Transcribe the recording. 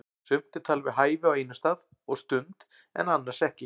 Sumt er talið við hæfi á einum stað og stund en annars ekki.